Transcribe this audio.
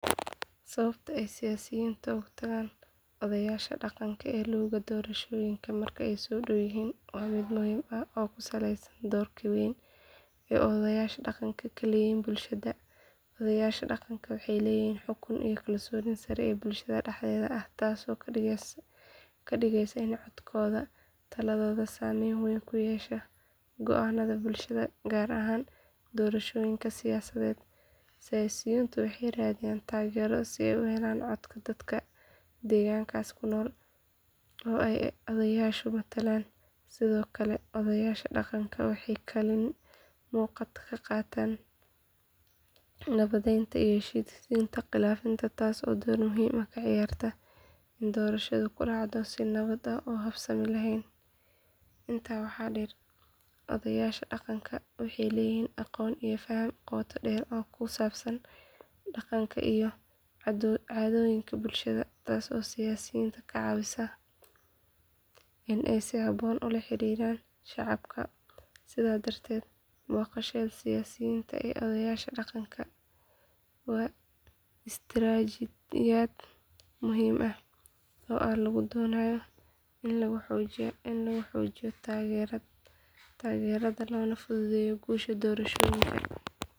Sababta ay siyaasiyiintu u tagaan odayaasha dhaqanka ee luuga doorashooyinka marka ay soo dhow yihiin waa mid muhiim ah oo ku saleysan doorka weyn ee odayaasha dhaqanku ku leeyihiin bulshada. Odayaasha dhaqanka waxay leeyihiin xukun iyo kalsooni sare oo bulshada dhexdeeda ah taasoo ka dhigaysa in codkooda iyo taladoodu saameyn weyn ku yeeshaan go’aannada bulshada gaar ahaan doorashooyinka siyaasadeed. Siyaasiyiintu waxay raadiyaan taageeradooda si ay u helaan codadka dadka degaankaas ku nool oo ay odayaashu matalaan. Sidoo kale odayaasha dhaqanku waxay kaalin muuqata ka qaataan nabadeynta iyo heshiisiinta khilaafaadka taasoo door muhiim ah ka ciyaarta in doorashadu ku dhacdo si nabad ah oo habsami leh. Intaa waxaa dheer, odayaasha dhaqanku waxay leeyihiin aqoon iyo faham qoto dheer oo ku saabsan dhaqanka iyo caadooyinka bulshada taasoo siyaasiyiinta ka caawisa in ay si habboon ula xiriiraan shacabka. Sidaas darteed, booqashada siyaasiyiinta ee odayaasha dhaqanka waa istiraatijiyad muhiim ah oo lagu doonayo in lagu xoojiyo taageerada loona fududeeyo guusha doorashooyinka.